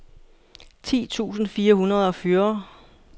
ti tusind fire hundrede og fyrre